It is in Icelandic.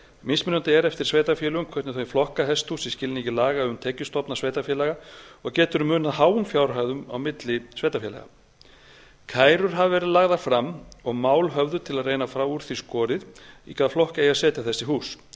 mismunandi er eftir sveitarfélögum hvernig þau flokka hesthús í skilningi laga um tekjustofna sveitarfélaga og getur munað háum fjárhæðum milli sveitarfélaga kærur hafa verið lagðar fram og mál höfðuð til að reyna að fá úr því skorið í hvaða flokk eigi að setja þessi hús